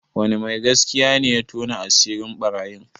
Wani mai gaskiya ne ya tona asirin ɓarayin?